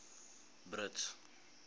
brits